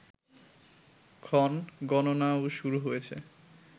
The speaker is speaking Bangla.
ক্ষণ গণনাও শুরু হয়েছে